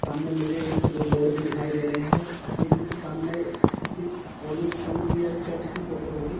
सामने मुझे एक से दो बोर्ड भी दिखाई दे रहे हैं ये किसी सामने किसी कॉलेज स्कूल कि या चर्च की फोटो होगी।